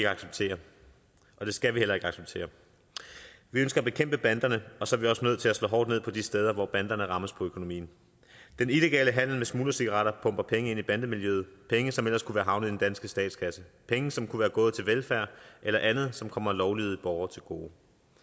acceptere og det skal vi heller ikke acceptere vi ønsker at bekæmpe banderne og så er vi også nødt til at slå hårdt ned på de steder hvor banderne rammes på økonomien den illegale handel med smuglercigaretter pumper penge ind i bandemiljøet penge som ellers kunne være havnet i den danske statskasse penge som kunne være gået til velfærd eller andet som kommer lovlydige borgere til gode